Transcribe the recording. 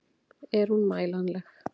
Er hún mælanleg?